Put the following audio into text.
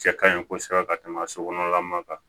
Cɛ kaɲi kosɛbɛ ka tɛmɛ a sokɔnɔla ma